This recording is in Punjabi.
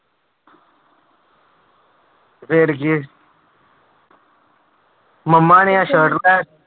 ਫਿਰ ਕੀ ਮੰਮਾ ਨੇ ਸਰਟ ਲੈ